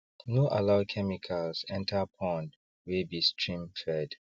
no allow chemicals enter pond wey be streamfed